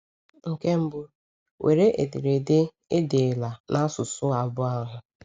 Nke mbụ, were ederede e deela n’asụsụ abụọ ahụ.